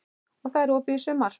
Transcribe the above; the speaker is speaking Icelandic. Og það er opið í sumar?